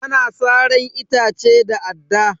Ana saran itace da adda.